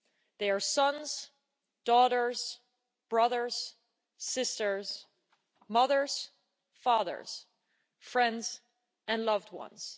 They are sons, daughters, brothers, sisters, mothers, fathers, friends and loved ones.